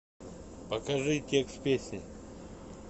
покажи текст песни